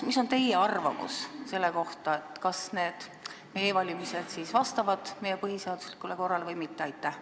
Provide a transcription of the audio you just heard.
Mis on teie arvamus selle kohta, kas e-valimised vastavad meie põhiseaduslikule korrale või mitte?